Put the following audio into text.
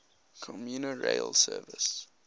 commuter rail service